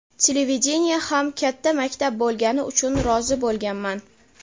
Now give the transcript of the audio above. Televideniye ham katta maktab bo‘lgani uchun rozi bo‘lganman.